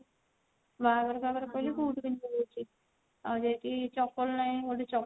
ବାହାଘର ଫାହାଘର ହେଲେ ବୁଟ୍ ପିନ୍ଧିକି ଯାଉଛି ଆଉ ଯେହେତୁ ଚପଲ ନାହିଁ